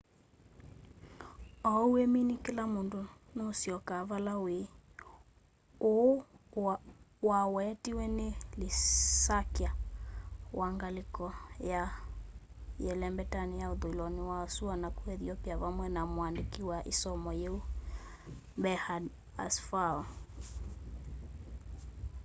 ou wimini kila undu nuusyoka vala wîî îî” uu uwetiwe ni lisakya wa ngaliko ya yelembeta ya uthuiloni wa sua naku ethiopia vamwe na muandiki wa i somo yiu berhane asfaw